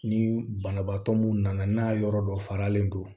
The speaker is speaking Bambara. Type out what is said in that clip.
Ni banabaatɔ mun nana n'a yɔrɔ dɔ faralen don